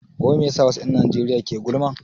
Wai me yasa wasu 'yan Najeriya ke gulma?